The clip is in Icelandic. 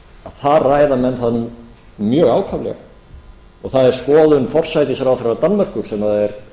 þar ræða menn það nú mjög ákaflega og það er skoðun forsætisráðherra danmerkur sem er